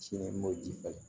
Sini ma ji falen